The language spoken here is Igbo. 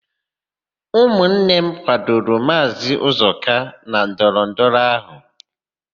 Ụmụnne m kwadoro Maazị Ụzọka na ndọrọndọrọ áhụ̀.